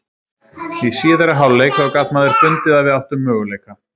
Í síðari hálfleik þá gat maður fundið að við áttum möguleika.